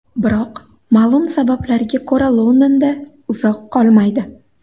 Biroq ma’lum sabablarga ko‘ra Londonda uzoq qolmaydi.